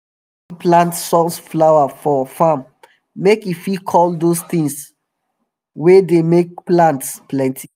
i don sabi plant sunflower for um farm make e fit call dose tin wey dem make plants plenty